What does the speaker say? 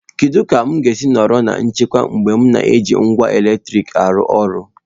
Kedu ka m ga-esi nọrọ na nchekwa mgbe m na-eji ngwa eletrik arụ ọrụ?